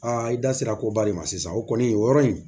i da sera koba de ma sisan o kɔni o yɔrɔ in